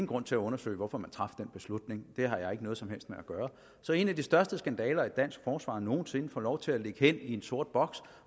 grund til at undersøge hvorfor man traf den beslutning det har jeg ikke noget som helst med at gøre så en af de største skandaler i dansk forsvar nogen sinde får lov til at ligge hen i en sort boks